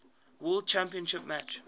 world championship match